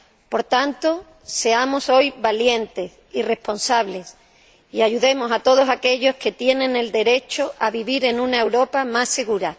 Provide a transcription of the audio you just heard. Por tanto, seamos hoy valientes y responsables y ayudemos a todos aquellos que tienen el derecho a vivir en una Europa más segura.